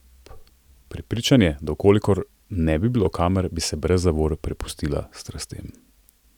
Prepričan je, da v kolikor ne bi bilo kamer, bi se brez zavor prepustila strastem.